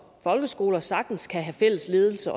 folkeskoler sagtens kan have fælles ledelse